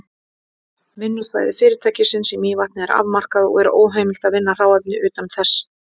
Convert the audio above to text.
Vinnslusvæði fyrirtækisins í Mývatni er afmarkað, og er óheimilt að vinna hráefni utan þess.